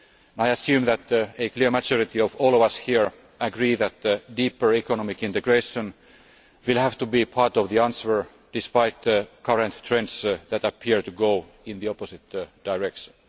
project. I assume that a clear majority of all of us here agree that deeper economic integration will have to be part of the answer, despite current trends that appear to go in the opposite direction.